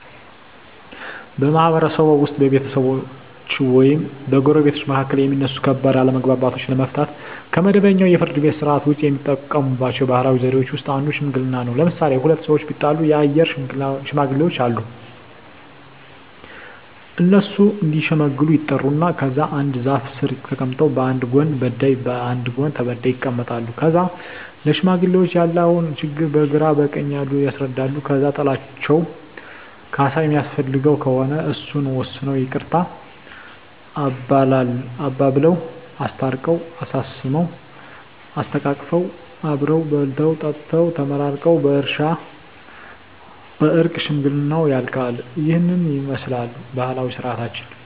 በማህበረሰብዎ ውስጥ በቤተሰቦች ወይም በጎረቤቶች መካከል የሚነሱ ከባድ አለመግባባቶችን ለመፍታት (ከመደበኛው የፍርድ ቤት ሥርዓት ውጪ) የሚጠቀሙባቸው ባህላዊ ዘዴዎች ውስጥ አንዱ ሽምግልና ነው። ለምሣሌ፦ ሁለት ሠዎች ቢጣሉ የአገር ሽማግሌዎች አሉ። እነሱ እዲሸመግሉ ይጠሩና ከዛ አንድ ዛፍ ስር ተቀምጠው በአንድ ጎን በዳይ በአንድ ጎን ተበዳይ ይቀመጣሉ። ከዛ ለሽማግሌዎች ያለውን ችግር በግራ በቀኝ ያሉት ያስረዳሉ። ከዛ ጥላቸው ካሣ የሚያስፈልገው ከሆነ እሱን ወስነው ይቅርታ አባብለው። አስታርቀው፤ አሳስመው፤ አሰተቃቅፈው አብረው በልተው ጠጥተው ተመራርቀው በእርቅ ሽምግልናው ያልቃ። ይህንን ይመስላል ባህላዊ ስርዓታችን።